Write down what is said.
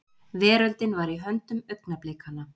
Veröldin var í höndum augnablikanna.